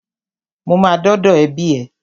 Mo ma dọ́dọ̀ ẹbí ẹ.